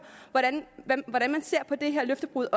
hvordan man ser på det her løftebrud